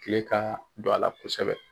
Kile ka don a la kosɛbɛ.